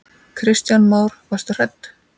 Kristján Már: Varstu hrædd?